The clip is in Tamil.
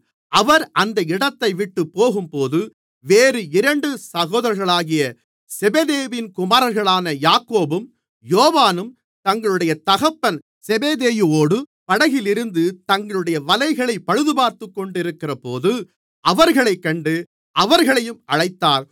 அவர் அந்த இடத்தைவிட்டுப் போகும்போது வேறு இரண்டு சகோதரர்களாகிய செபெதேயுவின் குமாரர்களான யாக்கோபும் யோவானும் தங்களுடைய தகப்பன் செபெதேயுவோடு படகிலிருந்து தங்களுடைய வலைகளைப் பழுதுபார்த்துக்கொண்டிருக்கிறபோது அவர்களைக் கண்டு அவர்களையும் அழைத்தார்